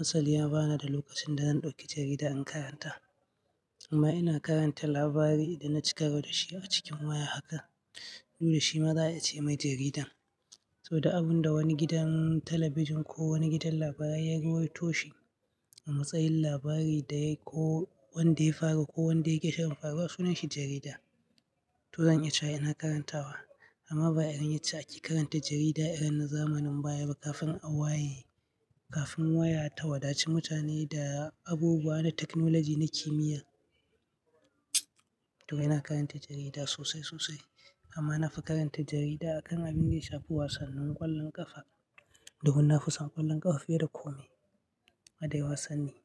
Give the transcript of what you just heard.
Asali bana da lokacin da zan ɗauki jarida in karanta amma ina karanta labari idan naci karo da shi a cikin waya haka. Nuna shimagaya ce mai jaridan. To, du abinda wani gidan talabijin ko wani gidan labarai ya rawaitoshi a matsayin labari da yayi ko wanda ya faru ko wanda yake shirin faruwa, sunan shi jarida. To, zan iya cewa ina karantawa amma ba irin yadda ake karanta jarida irin na zamanin baya ba kafin a waye, kafin waya ta wadaci mutane da abubuwa na teknoloji na kimiyya. To, ina karanta jarida sosai sosai amma na fi karanta jarida a kan abin da ya shafi wasannin ƙwallon ƙafa domin na fi son ƙwallon ƙafa fiye da kome. Hade wasanni.